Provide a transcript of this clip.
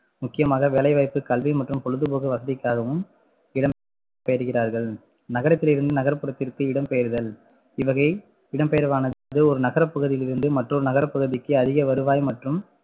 முக்கியமாக வேலைவாய்ப்பு, கல்வி மற்றும் பொழுதுபோக்கு வசதிக்காகவும் இடம் பெயர்கிறார்கள் நகரத்திலிருந்து நகர்ப்புறத்திற்கு இடம்பெயர்தல் இவ்வகை இடம்பெயர்வானது ஒரு நகரப்பகுதியில் இருந்து மற்றொரு நகரப்பகுதிக்கு அதிகவருவாய் மற்றும்